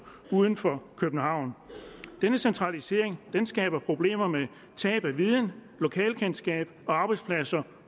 uden for københavn denne centralisering skaber problemer med tab af viden lokalkendskab og arbejdspladser